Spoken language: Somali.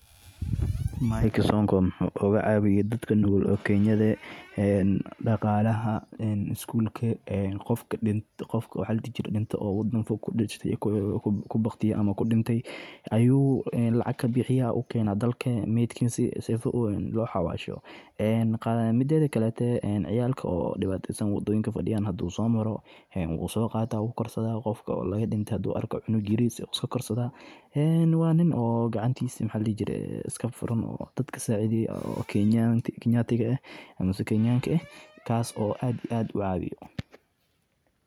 Maik sonko wuxuu oga cawiye dadka nugul oo kenyaada ee daqalaha isgulka qofka wadanka fog kudinte ama ku baqtiye, wadadha ayu somara ilma ayu sowadhanaya dadka sacidheyo oo kenyanka ah kas oo aad iyo aad u cawiyo.